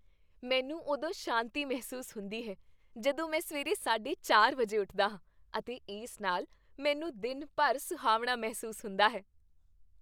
ਮੈਨੂੰ ਉਦੋਂ ਸ਼ਾਂਤੀ ਮਹਿਸੂਸ ਹੁੰਦੀ ਹੈ ਜਦੋਂ ਮੈਂ ਸਵੇਰੇ ਸਾਢੇ ਚਾਰ ਵਜੇ ਉੱਠਦਾ ਹਾਂ ਅਤੇ ਇਸ ਨਾਲ ਮੈਨੂੰ ਦਿਨ ਭਰ ਸੁਹਾਵਣਾ ਮਹਿਸੂਸ ਹੁੰਦਾ ਹੈ।